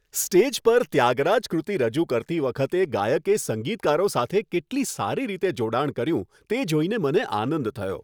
Stage પર 'ત્યાગરાજ કૃતિ' રજૂ કરતી વખતે ગાયકે સંગીતકારો સાથે કેટલી સારી રીતે જોડાણ કર્યું તે જોઈને મને આનંદ થયો.